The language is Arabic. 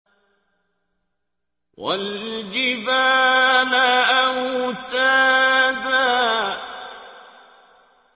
وَالْجِبَالَ أَوْتَادًا